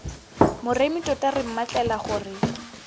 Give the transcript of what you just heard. moremi tota re mmatlela gore